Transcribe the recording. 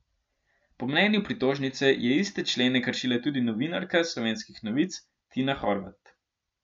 Po mnenju pritožnice je iste člene kršila tudi novinarka Slovenskih novic Tina Horvat.